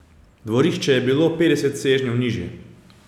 Dvorišče je bilo petdeset sežnjev nižje.